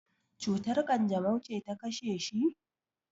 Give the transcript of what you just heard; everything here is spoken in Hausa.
cutar kanjamau ce ta kashe shi?